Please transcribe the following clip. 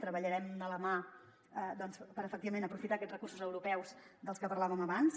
treballarem de la mà per efectivament aprofitar aquests recursos europeus dels que parlàvem abans